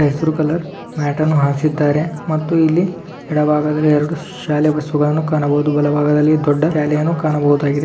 ಹಸಿರು colour mat ಅನ್ನು ಹಾಸಿದ್ದಾರೆ ಮತ್ತು ಇಲ್ಲಿ ಎಡ ಭಾಗದಲ್ಲಿ ಎರಡು ಶಾಲೆ ಬಸ್ಸು ಗಳನ್ನು ಕಾಣಬಹುದು ಬಲ ಭಾಗದಲ್ಲಿ ದೊಡ್ಡ ರ್ಯಾಲಿಯನ್ನು ಕಾಣಬಹುದಾಗಿದೆ.